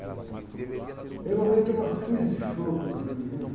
Tinha ligado, e a minha mãe entrou numa crise de choro quando viu o menino.